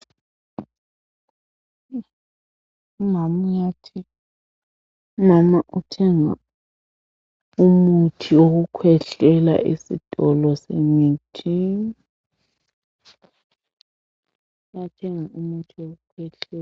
Umama uthenga umuthi wokukhwehlela esitolo semithi